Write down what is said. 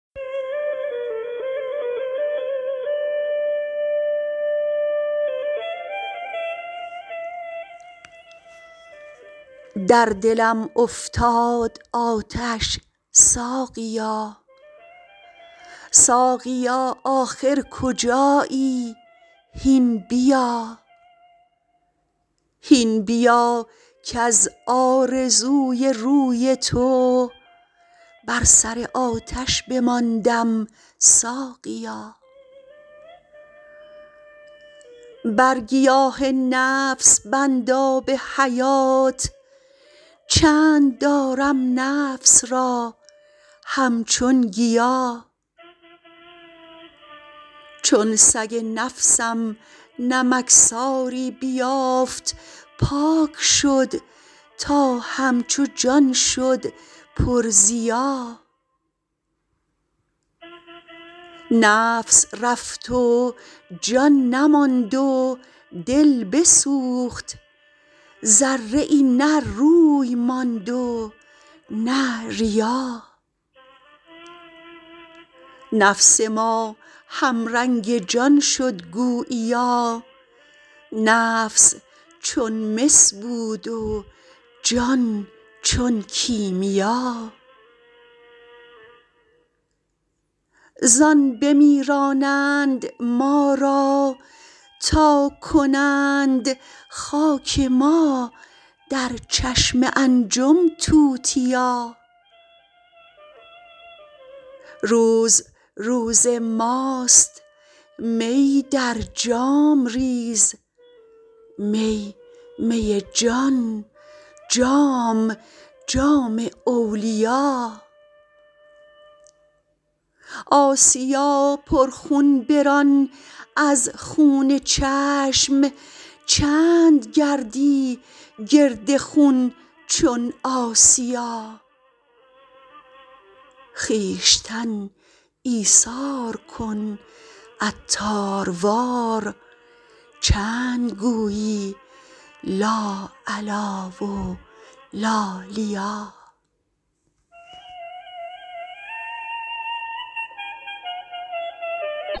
در دلم افتاد آتش ساقیا ساقیا آخر کجایی هین بیا هین بیا کز آرزوی روی تو بر سر آتش بماندم ساقیا بر گیاه نفس بند آب حیات چند دارم نفس را همچون گیا چون سگ نفسم نمکساری بیافت پاک شد تا همچو جان شد پر ضیا نفس رفت و جان نماند و دل بسوخت ذره ای نه روی ماند و نه ریا نفس ما هم رنگ جان شد گوییا نفس چون مس بود و جان چون کیمیا زان بمیرانند ما را تا کنند خاک ما در چشم انجم توتیا روز روز ماست می در جام ریز می می جان جام جام اولیا آسیا پر خون بران از خون چشم چند گردی گرد خون چون آسیا خویشتن ایثار کن عطار وار چند گویی لا علی و لا لیا